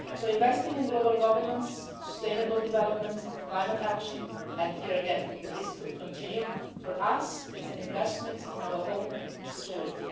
Investing in global governance, sustainable development, climate action and here again the list could continue is for us an investment in our own security.